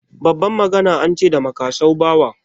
Babban magana an ce da makasau bawa.